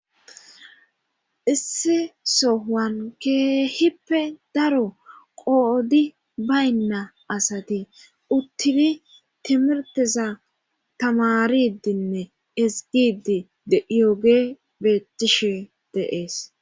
Isse so wan keehippe daro qoodi baynna asati uttidi timirtiza tamaridinne esgidi yooge beettishe deees.